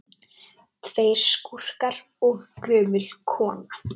Tveir skúrkar og gömul kona